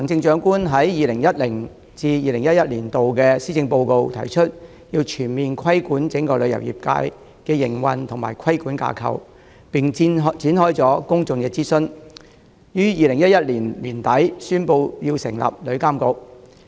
在 2010-2011 年度的施政報告中，時任行政長官提出，要全面規管旅遊業界的營運及規管架構，並展開公眾諮詢，於2011年年底宣布成立旅遊業監管局。